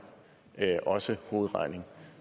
også hovedregning